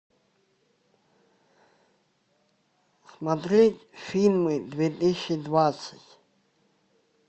смотреть фильмы две тысячи двадцать